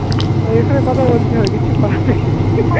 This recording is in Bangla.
ওই এখানে কথা বলতে হয়. কিছু করার নেই.